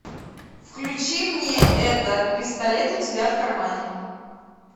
включи мне это пистолет у тебя в кармане